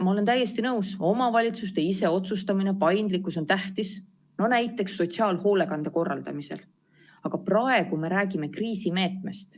Ma olen täiesti nõus, et omavalitsuste iseotsustamine, paindlikkus on tähtis, näiteks sotsiaalhoolekande korraldamisel, aga praegu me räägime kriisimeetmest.